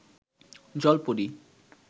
জল পরী